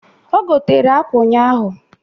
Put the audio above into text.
O gotere akwa ụnyaahụ